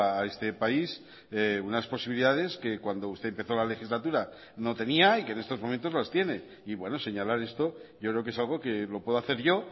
a este país unas posibilidades que cuando usted empezó la legislatura no tenía y que en estos momentos las tiene y bueno señalar esto yo creo que es algo que lo puedo hacer yo